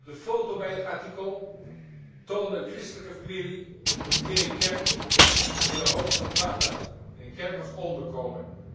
De foto bij het artikel toonde een christelijke familie in een kerk in de hoofdstad Bagdad, in een kerk als onderkomen.